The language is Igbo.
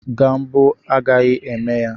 Gambo agaghị eme ya